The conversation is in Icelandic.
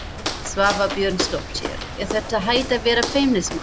Svava Björnsdóttir: Er þetta hætt að vera feimnismál?